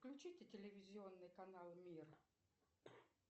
включите телевизионный канал мир